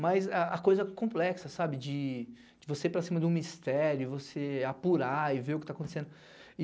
Mas a a coisa complexa, sabe, de você ir para cima de um mistério, você apurar e ver o que tá acontecendo.